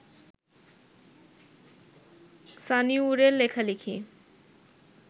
সানিউরের লেখালেখি